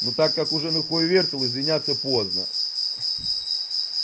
ну так как уже на хую вертел извиняться поздно